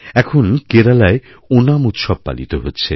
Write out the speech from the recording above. এখন কেরালায়ওনাম উৎসব পালিত হচ্ছে